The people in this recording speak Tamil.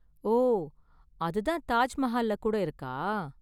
ஓ, அது தான் தாஜ் மஹால்ல கூட இருக்கா?